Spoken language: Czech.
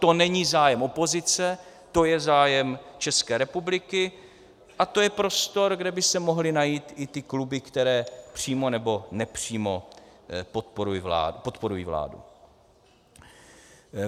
To není zájem opozice, to je zájem České republiky a to je prostor, kde by se mohly najít i ty kluby, které přímo nebo nepřímo podporují vládu.